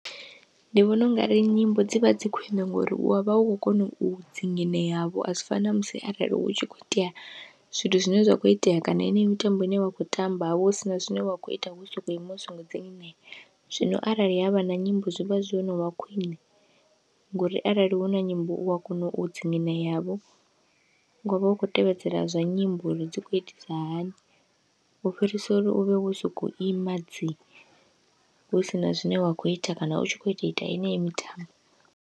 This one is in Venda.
Ndi vhona ungari nyimbo dzivha dzi khwiṋe ngori u wavha u khou kona u dzingineyavho, azwi fani namusi arali hu tshi kho itea zwithu zwine zwa kho itea kana yeneyo mitambo ine wa kho tamba havha hu sina zwine wa kho ita wo soko ima u songo dzingineya. Zwino arali havha na nyimbo zwi vha zwo novha khwiṋe. Ngouri arali huna nyimbo u wa kona u dzingineyavho wavha u kho tevhedzela zwa nyimbo uri dzi khou itisa hani, u fhirisa uri uvhe wo soko ima dzi hu sina zwine wa kho ita kana u tshi kho tou ita yeneyi mitambo.